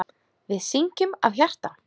Við syngjum af hjarta.